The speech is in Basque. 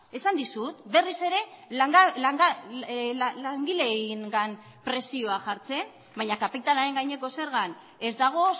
esan dizut berriz ere langileengan presioa jartzen baina kapitalaren gaineko zergan ez dago